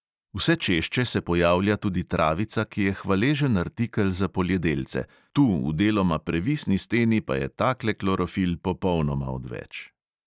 Vse češče se pojavlja tudi travica, ki je hvaležen artikel za poljedelce, tu v deloma previsni steni pa je takle klorofil popolnoma odveč.